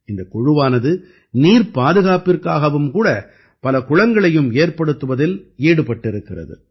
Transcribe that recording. இந்தக் குழுவானது நீர் பாதுகாப்பிற்காகவும் கூட பல குளங்களையும் ஏற்படுத்துவதில் ஈடுபட்டிருக்கிறது